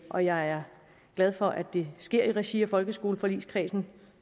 og jeg er glad for at det sker i regi af folkeskoleforligskredsen